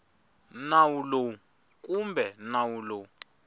nawu lowu kumbe nawu lowu